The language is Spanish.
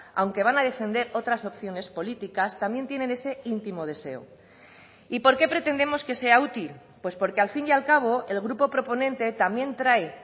aunque van a defender otras opciones políticas también tienen ese intimo deseo y por qué pretendemos que sea útil pues porque al fin y al cabo el grupo proponente también trae